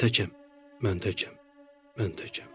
Mən təkəm, mən təkəm, mən təkəm.